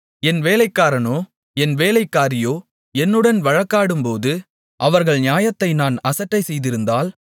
என் வேலைக்காரனோ என் வேலைக்காரியோ என்னுடன் வழக்காடும்போது அவர்கள் நியாயத்தை நான் அசட்டைசெய்திருந்தால்